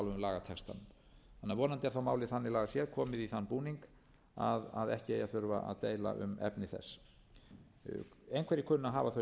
lagatextanum vonandi er þá vonandi málið þannig lagað séð komið í þann búning að ekki eigi að þurfa að deila um efni þess einhverjir kunna